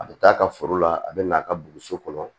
A bɛ k'a ka foro la a bɛ n'a ka boso kɔnɔ